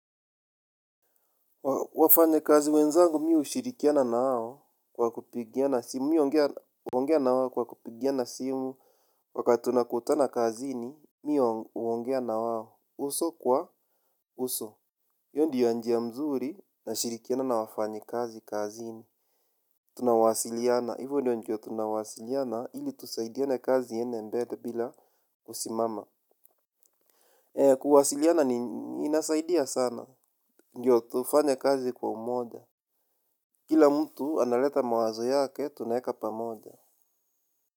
Wafanyakazi wenzangu mi hushirikiana nao kwa kupigiana simu. Mi huongea na wao kwa kupigiana simu. Wakati tunakutana kazini, mi huongea na wao uso kwa uso. Hiyo ndiyo njia mzuri nashirikiana na wafanyakazi kazini. Tunawasiliana, hivo ndio njia tunawasiliana ili tusaidiane kazi iende mbele bila kusimama. Kuwasiliana ni inasaidia sana, ndio tufanye kazi kwa umoja. Kila mtu analeta mawazo yake tunaeka pamoja.